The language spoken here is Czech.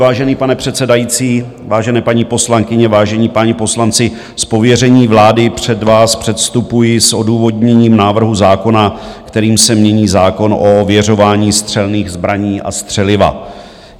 Vážený pane předsedající, vážené paní poslankyně, vážení páni poslanci, z pověření vlády před vás předstupuji s odůvodněním návrhu zákona, kterým se mění zákon o ověřování střelných zbraní a střeliva.